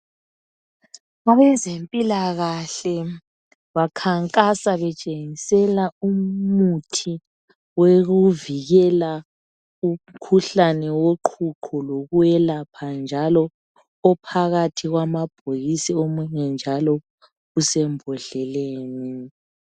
Abezempilakahle bakhankasa betshengisela umuthi wokuvikela umkhuhlane woqhuqho lowokwelapha njalo ophakathi kwamabhokisi lomunye osembodleleni.